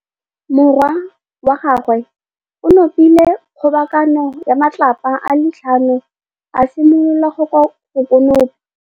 Morwa wa gagwe o nopile kgobokanô ya matlapa a le tlhano, a simolola go konopa.